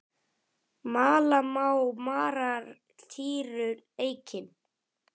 Mala má marar týru eikin.